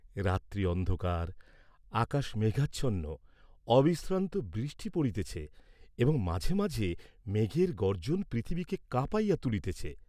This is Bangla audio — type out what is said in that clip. রাত্রি অন্ধকার, আকাশ মেঘাচ্ছন্ন, অবিশ্রান্ত বৃষ্টি পড়িতেছে এবং মাঝে মাঝে মেঘের গর্জ্জন পৃথিবীকে কাঁপাইয়া তুলিতেছে।